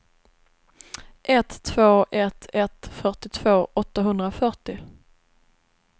ett två ett ett fyrtiotvå åttahundrafyrtio